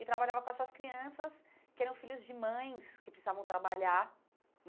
E trabalhava com as suas crianças, que eram filhos de mães, que precisavam trabalhar.